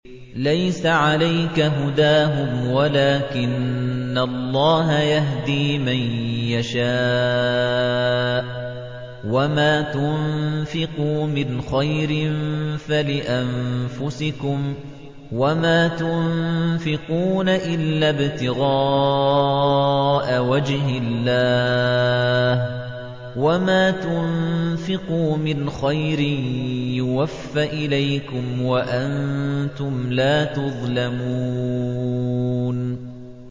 ۞ لَّيْسَ عَلَيْكَ هُدَاهُمْ وَلَٰكِنَّ اللَّهَ يَهْدِي مَن يَشَاءُ ۗ وَمَا تُنفِقُوا مِنْ خَيْرٍ فَلِأَنفُسِكُمْ ۚ وَمَا تُنفِقُونَ إِلَّا ابْتِغَاءَ وَجْهِ اللَّهِ ۚ وَمَا تُنفِقُوا مِنْ خَيْرٍ يُوَفَّ إِلَيْكُمْ وَأَنتُمْ لَا تُظْلَمُونَ